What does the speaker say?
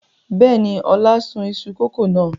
Bẹ́ẹ̀ni, Ọlá sun iṣu kòkó náà.